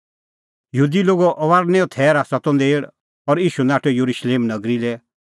यहूदी लोगे फसहे जाचा ती नेल़ और ईशू नाठअ येरुशलेम नगरी लै